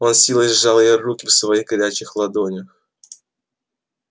он с силой сжал её руки в своих горячих ладонях